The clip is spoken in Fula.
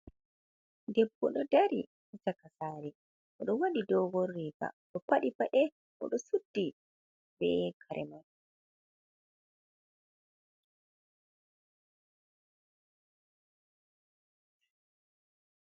Debbo ɗo dari caka sare, oɗo waɗi dogon riga oɗo paɗi paɗe oɗo suddi be kare mai.